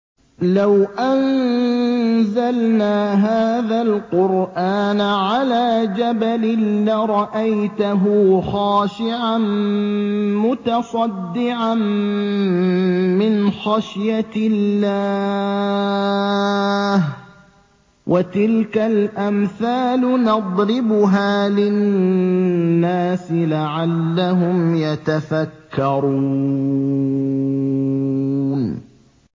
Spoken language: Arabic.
لَوْ أَنزَلْنَا هَٰذَا الْقُرْآنَ عَلَىٰ جَبَلٍ لَّرَأَيْتَهُ خَاشِعًا مُّتَصَدِّعًا مِّنْ خَشْيَةِ اللَّهِ ۚ وَتِلْكَ الْأَمْثَالُ نَضْرِبُهَا لِلنَّاسِ لَعَلَّهُمْ يَتَفَكَّرُونَ